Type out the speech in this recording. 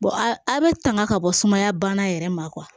a bɛ tanga ka bɔ sumaya bana yɛrɛ ma